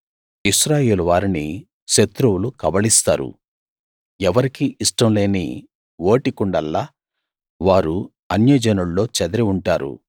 ఇశ్రాయేలు వారిని శత్రువులు కబళిస్తారు ఎవరికీ ఇష్టంలేని ఓటికుండల్లా వారు అన్యజనుల్లో చెదిరి ఉంటారు